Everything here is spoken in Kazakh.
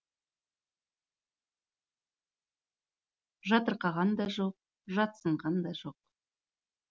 жатырқаған да жоқ жатсынған да жоқ